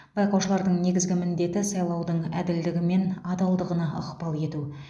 байқаушылардың негізгі міндеті сайлаудың әділдігі мен адалдығына ықпал ету